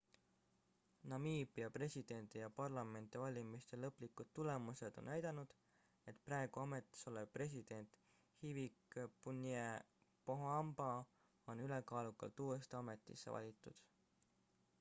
namiibia presidendi ja parlamendivalimiste lõplikud tulemused on näidanud et praegu ametis olev president hifikepunye pohamba on ülekaalukalt uuesti ametisse valitud